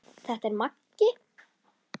Þetta er Maggi!